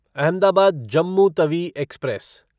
Ahmedabad Jammu Tawi express